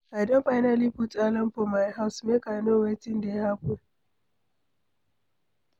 I don finally put alarm for my house, make I know wetin dey happen.